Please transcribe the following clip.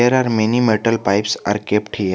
There are many metal pipes are kept here.